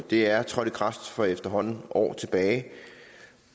det er trådt i kraft for efterhånden år tilbage